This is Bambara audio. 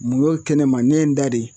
Mun y'o kɛnɛma ne ye n da de